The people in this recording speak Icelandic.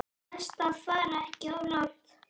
Best að fara ekki of langt.